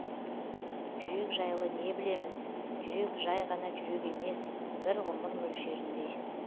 жүрек жайлы не білеміз жүрек жай ғана жүрек емес бір ғұмыр мөлшеріндей